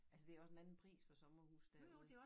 Altså det også en anden pris for sommerhuse derude